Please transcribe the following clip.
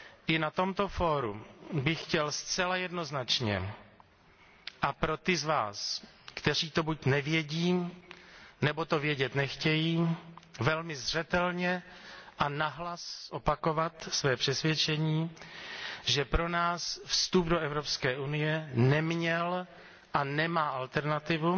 I na tomto fóru bych chtěl zcela jednoznačně a pro ty z Vás, kteří to buď nevědí, nebo to vědět nechtějí, velmi zřetelně a nahlas zopakovat své přesvědčení, že pro nás vstup do Evropské unie neměl a nemá alternativu